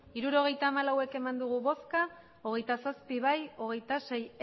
hirurogeita hamalau bai hogeita zazpi ez hogeita sei